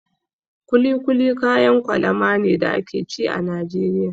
Kuli kuli kayan kwalama ne da ake ci a Najeriya.